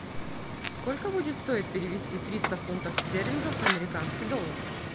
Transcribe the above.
сколько будет стоить перевести триста фунтов стерлингов в американский доллар